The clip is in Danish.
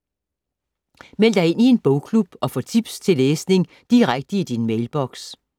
Meld dig ind i en bogklub og få tips til læsning direkte i din mailboks